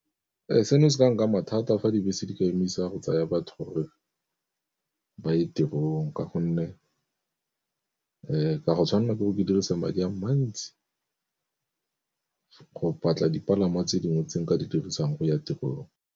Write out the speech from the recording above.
Seno se ka nkama thata a fa dibese di ka emisa go tsaya batho gore ba ye tirong, ka gonne ke a go tshwanela ke go ke dirisang madi a mantsi go batla dipalangwa tse dingwe tse nka di dirisang go ya tirong.